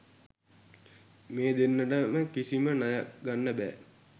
මේ දෙන්නටම කිසිම ණයක් ගන්න බෑ.